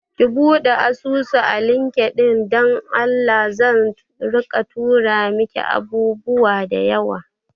Ki buɗe asusu a LinkedIn don Allah, zan rika tura miki abubuwa da yawa